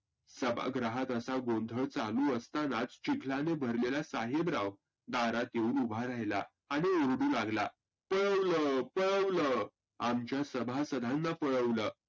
सभागृहात असा गोंधळ चालू असतानाच चिखलाने भरलेला साहेबराव दारात येऊन उभा राहीला. आणि ओरडू लागला पळवलं पळवलं आमच्या सभासदांना पळवलं.